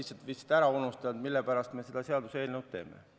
Sa oled lihtsalt ära unustanud, mille pärast me seda seaduseelnõu teeme.